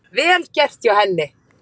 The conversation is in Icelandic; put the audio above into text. Vel gert hjá henni